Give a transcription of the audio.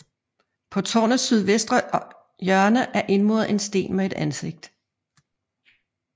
På tårnets sydvestre hjørne er indmuret en sten med et ansigt